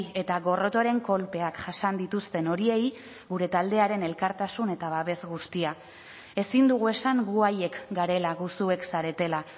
eta gorrotoaren kolpeak jasan dituzten horiei gure taldearen elkartasun eta babes guztia ezin dugu esan gu haiek garela gu zuek zaretela